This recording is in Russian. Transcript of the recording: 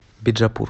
биджапур